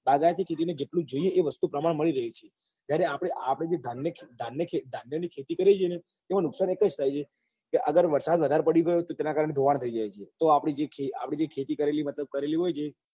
બાગાયતી ખેતી ને જેટલું જે જોઈએ છે એ વસ્તુ પ્રમાણ મળી રહે છે જ્યારે આપડે આ બધી ધાર્મિક ખેતી કરીએ છીએ ને એમાં નુકસાન એક જ થાય છે કે અગર વરસાદ વધારે પડી ગયો ને તો તો તેના કારણે બગાડ થઇ જાય છે તો આપડી જે ખે આપડી જે ખેતી કરેલી મતલબ કરેલી હોય છે ને